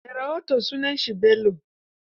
Mai rahoton sunansa Bello.